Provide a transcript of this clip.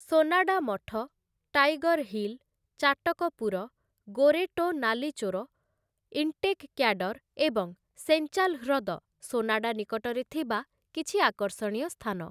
ସୋନାଡା ମଠ, Tiger Hill, Chatakpur, ଗୋରେଟୋ ନାଲିଚୋର, ଇଣ୍ଟେକ୍ କ୍ୟାଡର୍ ଏବଂ ସେଞ୍ଚାଲ୍ ହ୍ରଦ ସୋନାଡା ନିକଟରେ ଥିବା କିଛି ଆକର୍ଷଣୀୟ ସ୍ଥାନ ।